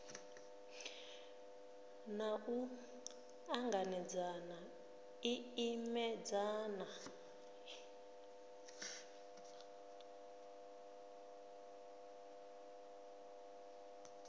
na u ṱanganedzana i imedzana